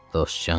Dostcan.